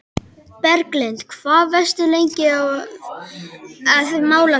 Berglind: Hvað varstu lengi að mála það?